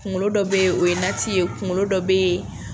Kunkolo dɔ bɛ o ye nati ye, kunkolo dɔ bɛ ye